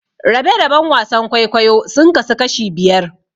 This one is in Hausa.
Rabe-raben wasan kwaikwayo sun kasu kashi biyar.